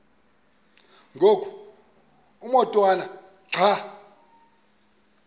ngoku umotwana xa